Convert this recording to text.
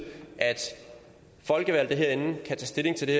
at folkevalgte herinde kan tage stilling til det